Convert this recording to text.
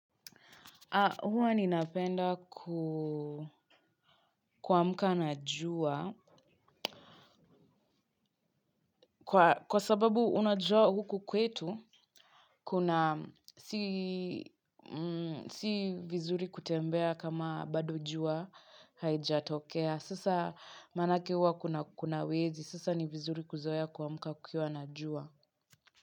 Huwa ninapenda kuamka na jua. Kwa sababu unajua huku kwetu kuna si vizuri kutembea kama bado jua haijatokea. Sasa maanake huwa kuna wezi. Sasa ni vizuri kuzoea kuamka kukiwa na jua.